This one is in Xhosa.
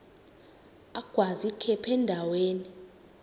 agwaz ikhephu endaweni